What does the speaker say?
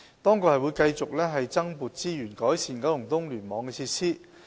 政府亦會繼續增撥資源改善九龍東聯網的設施。